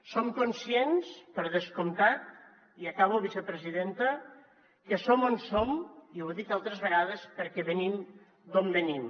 som conscients per descomptat i acabo vicepresidenta que som on som i ho he dit altres vegades perquè venim d’on venim